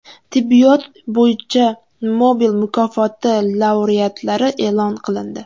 Tibbiyot bo‘yicha Nobel mukofoti laureatlari e’lon qilindi .